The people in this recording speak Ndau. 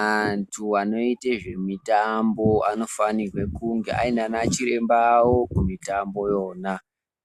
Antu anoite zvimitambo anofanirwe kunge aine anachiremba awo kumitambo yona,